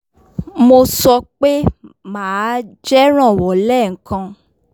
mo sọ pe maa jẹ ranwọ lẹẹkan